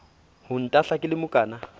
ho ntahla ke le mokana